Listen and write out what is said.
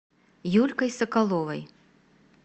юлькой соколовой